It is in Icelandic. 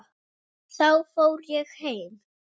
Þá fór ég heim.